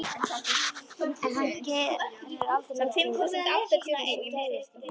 En hann gerir aldrei neitt til þess að geðjast því.